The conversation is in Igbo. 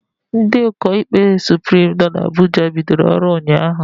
Ndị ụkọ ikpe Suprim nọ na Abuja bidoro ọrụ ụnyaahụ